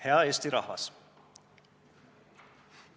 Hea Eesti rahvas!